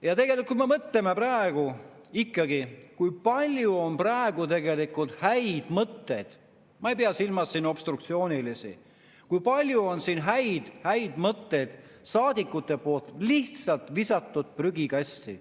Ja tegelikult, mõtleme, kui palju on praegu ikkagi olnud häid mõtteid – ma ei pea silmas obstruktsioonilisi –, kui palju on siin saadikute häid mõtteid lihtsalt visatud prügikasti.